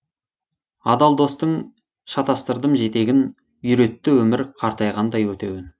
адал достың шатастырдым жетегін үйретті өмір қайтарғандай өтеуін